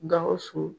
Gawusu